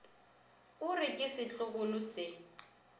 o re ke setlogolo se